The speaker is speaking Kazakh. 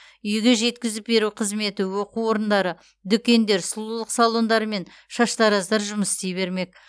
үйге жеткізіп беру қызметі оқу орындары дүкендер сұлулық салондары мен шаштараздар жұмыс істей бермек